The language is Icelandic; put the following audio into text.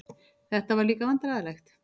Þetta var líka vandræðalegt.